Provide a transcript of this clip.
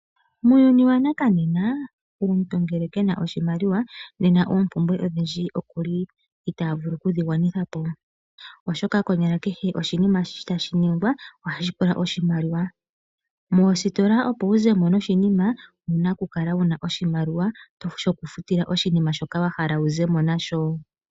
Muuyuni wanakanena omuntu ngele kena oshimaliwa nena oopumbwe odhindji okuli ita vulu okudhi gwanithapo, oshoka konyala kehe oshinima tashi nigwa ohashi pula oshimaliwa. Moostola opowu zemo noshinima owuna oku kala wuna oshimaliwa shoku futila oshinima shoka wahala wu zemo nasho.